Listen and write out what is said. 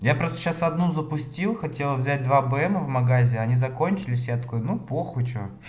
я просто сейчас одну запустил хотел взять два бм в магазины они закончились я такой ну похую что